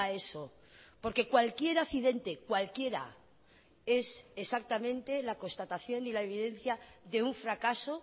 eso porque cualquier accidente cualquiera es exactamente la constatación y la evidencia de un fracaso